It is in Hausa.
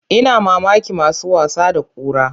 Ina mamakin masu wasa da kura.